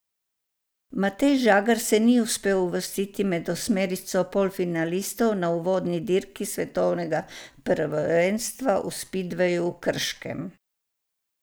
Matej Žagar se ni uspel uvrstiti med osmerico polfinalistov na uvodni dirki svetovnega prvenstva v spidveju v Krškem.